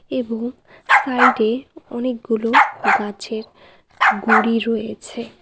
এবং সাইডে অনেকগুলো গাছের গুড়ি রয়েছে।